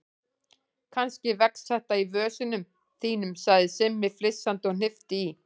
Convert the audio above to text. Kannski vex þetta í vösunum þínum sagði Simmi flissandi og hnippti í